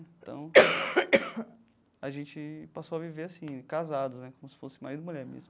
Então, a gente passou a viver assim, casados né, como se fosse marido e mulher mesmo.